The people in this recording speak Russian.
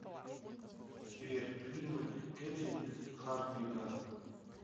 сбер фильмы кетрин хардвика